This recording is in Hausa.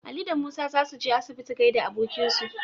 Ali da Musa za su je asibiti gaida abokinsu.